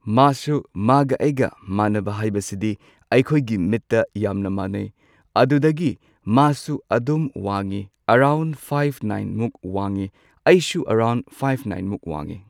ꯃꯥꯁꯨ ꯃꯥꯒ ꯑꯩꯒ ꯃꯥꯟꯅꯕ ꯍꯥꯏꯕꯁꯤꯗꯤ ꯑꯩꯈꯣꯏꯒꯤ ꯃꯤꯠꯇ ꯌꯥꯝꯅ ꯃꯥꯅꯩ ꯑꯗꯨꯗꯒꯤ ꯃꯥꯁꯨ ꯑꯗꯨꯝ ꯋꯥꯡꯉꯤ ꯑꯦꯔꯥꯎꯟ ꯐꯥꯐ ꯅꯥꯏꯟꯃꯨꯛ ꯋꯥꯡꯉꯤ ꯑꯩꯁꯨ ꯑꯦꯔꯥꯎꯟ ꯐꯥꯏꯕ ꯅꯥꯏꯟꯃꯨꯛ ꯋꯥꯡꯉꯤ꯫